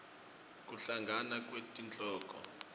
kuhlangana kwetinkholo